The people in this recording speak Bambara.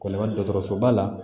Kɔni ka dɔgɔtɔrɔsoba la